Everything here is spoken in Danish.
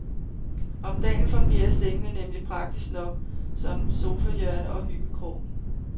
Om dagen fungerer sengene nemlig praktisk nok som sofahjørne og hyggekrog.